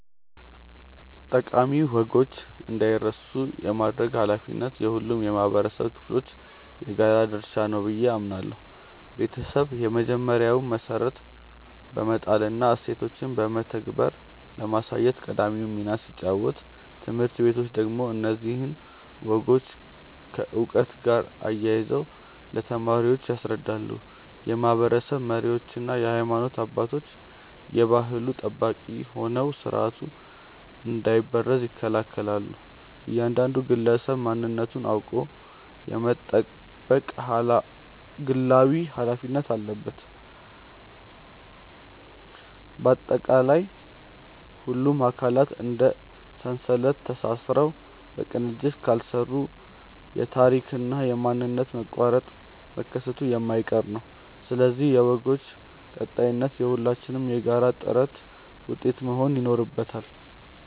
ጠቃሚ ወጎች እንዳይረሱ የማድረግ ኃላፊነት የሁሉም የኅብረተሰብ ክፍሎች የጋራ ድርሻ ነው ብዬ አምናለሁ። ቤተሰብ የመጀመሪያውን መሠረት በመጣልና እሴቶችን በተግባር በማሳየት ቀዳሚውን ሚና ሲጫወት፣ ትምህርት ቤቶች ደግሞ እነዚህን ወጎች ከዕውቀት ጋር አያይዘው ለተማሪዎች ያስረዳሉ። የማኅበረሰብ መሪዎችና የሃይማኖት አባቶች የባሕሉ ጠባቂ ሆነው ሥርዓቱ እንዳይበረዝ ይከላከላሉ፤ እያንዳንዱ ግለሰብም ማንነቱን አውቆ የመጠበቅ ግላዊ ኃላፊነት አለበት። ባጠቃላይ፣ ሁሉም አካላት እንደ ሰንሰለት ተሳስረው በቅንጅት ካልሠሩ የታሪክና የማንነት መቋረጥ መከሰቱ የማይቀር ነው፤ ስለዚህ የወጎች ቀጣይነት የሁላችንም የጋራ ጥረት ውጤት መሆን ይኖርበታል።